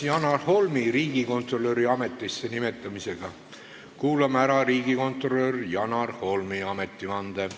Seoses Janar Holmi riigikontrolöri ametisse nimetamisega kuulame ära riigikontrolör Janar Holmi ametivande.